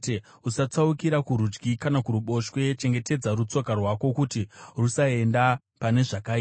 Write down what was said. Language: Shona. Usatsaukira kurudyi kana kuruboshwe; chengetedza rutsoka rwako kuti rusaende pane zvakaipa.